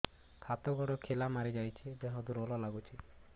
ହାତ ଗୋଡ ଖିଲା ମାରିଯାଉଛି ଦେହ ଦୁର୍ବଳ ଲାଗୁଚି